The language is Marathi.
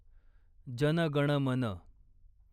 जन गण मन